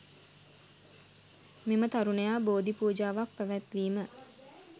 මෙම තරුණයා බෝධි පූජාවක්‌ පැවැත්වීම